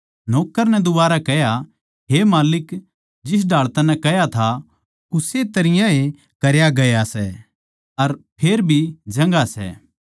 नौक्कर नै दुबारै कह्या हे माल्लिक जिस ढाळ तन्नै कह्या था उस्से तरियां ए करया गया सै अर फेर भी जगहां सै